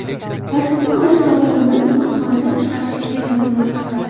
Hozirda ular sog‘lom bo‘lib, tug‘ruqxonadan chiqarishga tayyorlanmoqda.